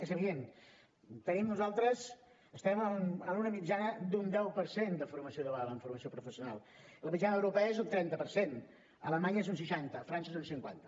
és evident nosaltres estem en una mitjana d’un deu per cent de formació dual en formació professional la mitjana europea és un trenta per cent a alemanya és un seixanta a frança és un cinquanta